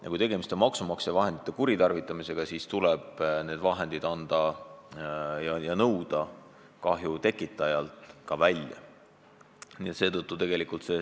Ja kui tegemist on maksumaksja raha kuritarvitamisega, siis tuleb see raha kahju tekitajalt välja nõuda.